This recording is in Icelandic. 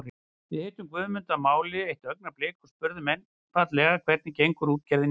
Við hittum Guðmund að máli eitt augnablik og spurðum einfaldlega hvernig gengur útgerðin í dag?